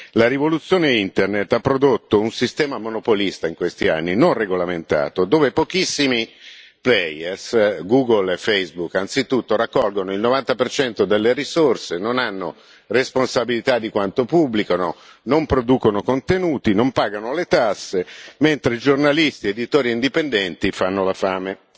La rivoluzione Internet ha prodotto un sistema monopolista, in questi anni, non regolamentato, dove pochissimi player Google e Facebook anzitutto, raccolgono il 90 delle risorse, non hanno responsabilità per quanto pubblicano, non producono contenuti, non pagano le tasse, mentre giornalisti, editori e indipendenti fanno la fame.